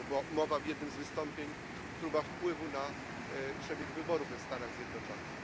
mowa w jednym z wystąpień, próba wpływu na przebieg wyborów w Stanach Zjednoczonych.